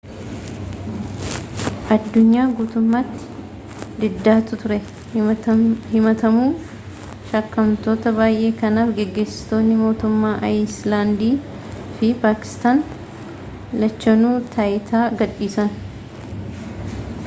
adunyaa guutummaatti diddaatu ture himatamuu shakkamtoota baayee kanaaf gaggeessitootni motummoota ayiislaandii fi paakistan lachanuu taayitaa gad dhiisan